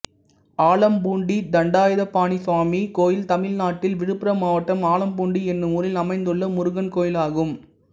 ஆலம்பூண்டி தண்டாயுதபாணிசுவாமி கோயில் தமிழ்நாட்டில் விழுப்புரம் மாவட்டம் ஆலம்பூண்டி என்னும் ஊரில் அமைந்துள்ள முருகன் கோயிலாகும்